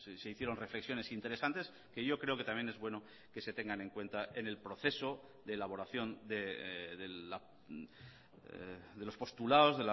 se hicieron reflexiones interesantes que yo creo que también es bueno que se tengan en cuenta en el proceso de elaboración de los postulados